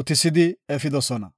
uttisidi efidosona.